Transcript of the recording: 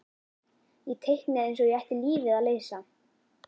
Ég teiknaði eins og ég ætti lífið að leysa.